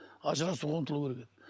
ажырасуға ұмтылу керек еді